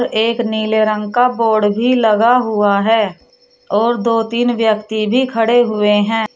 एक नीले रंग का बोर्ड भी लगा हुआ है और दो तीन व्यक्ति भी खड़े हुए हैं।